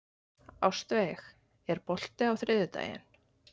Ástveig, er bolti á þriðjudaginn?